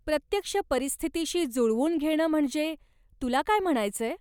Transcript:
प्रत्यक्ष परिस्थितीशी जुळवून घेणं म्हणजे, तुला काय म्हणायचंय?